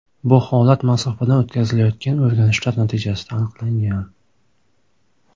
Bu holat masofadan o‘tkazilayotgan o‘rganishlar natijasida aniqlangan.